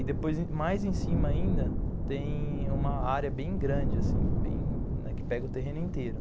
E depois, mais em cima ainda, tem uma área bem grande assim, que pega o terreno inteiro.